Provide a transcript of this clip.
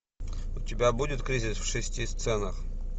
у тебя будет кризис в шести сценах